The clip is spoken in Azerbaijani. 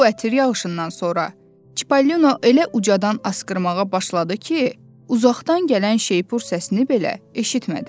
Bu ətir yağışından sonra Çipollino elə ucadan asqırmağa başladı ki, uzaqdan gələn şeypur səsini belə eşitmədi.